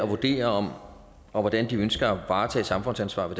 vurdere hvordan de ønsker at varetage samfundsansvar i